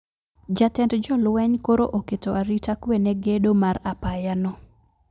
jatend jolweny koro oketo arita kwe ne gedo mar apaya no